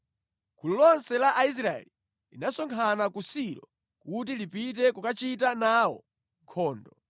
gulu lonse la Aisraeli linasonkhana ku Silo kuti lipite kukachita nawo nkhondo.